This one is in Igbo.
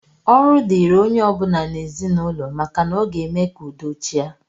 Ọrụ dịịrị onye ọ bụla n'ezinụlọ maka na ọ ga-eme ka udo chịa